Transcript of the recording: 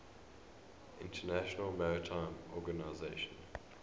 international maritime organization